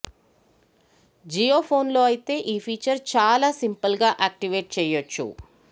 జియో ఫోన్లో అయితే ఈ ఫీచర్ చాలా సింపుల్గా యాక్టివేట్ చేయొచ్చు